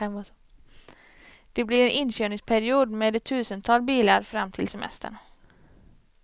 Det blir en inkörningsperiod med ett tusental bilar fram till semestern.